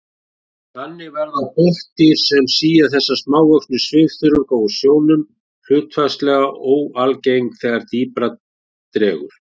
Þannig verða botndýr sem sía þessa smávöxnu svifþörunga úr sjónum hlutfallslega óalgeng þegar dýpra dregur.